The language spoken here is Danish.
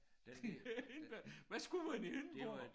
Det Hindborg hvad skulle mand i Hindborg?